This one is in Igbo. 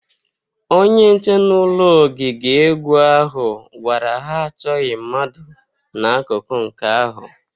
Onye nche n'ụlọ ogige egwu ahụ gwara ha achọghị mmadụ n'akụkụ nke ahu